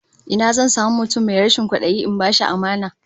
Ina zan samu mutum mai rashin kwadayi in bashi amana?